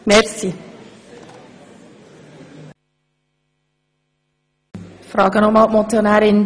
Sie haben nichts ins Postulat gewandelt?